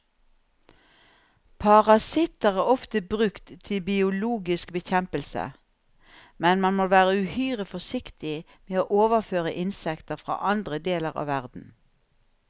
Parasitter er ofte brukt til biologisk bekjempelse, men man må være uhyre forsiktig med å overføre insekter fra andre deler av verden.